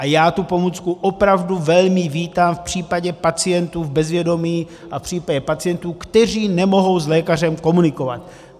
A já tu pomůcku opravdu velmi vítám v případě pacientů v bezvědomí a v případě pacientů, kteří nemohou s lékařem komunikovat.